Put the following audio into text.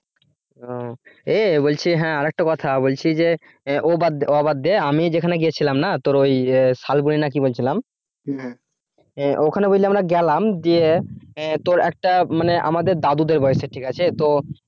আহ বলছি হ্যাঁ আর একটা কথা বলছি যে ও বাদ দে ও বাদ দে আমি যেখানে গেছিলাম না তোর ওই শালবনি নাকি বলছিলাম ওখানে বুঝলি আমরা গেলাম দিয়ে তোর একটা মানে আমাদের দাদুদের বয়সী ঠিক আছে তো